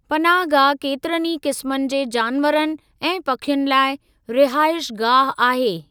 पनाहगाह केतिरनि ई क़िस्मनि जे जानवरनि ऐं पखियुनि लाइ रिहाइशगाह आहे।